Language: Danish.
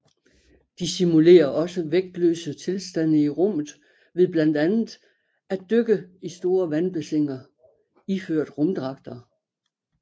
De simulerer også de vægtløse tilstande i rummet ved blandt andet at dykke i store vandbassiner iført rumdragter